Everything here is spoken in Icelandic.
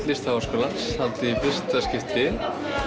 Listaháskólans haldið í fyrsta skipti